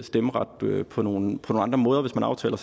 stemmeret på nogle andre måder hvis man aftaler